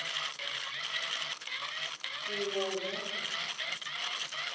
rivombo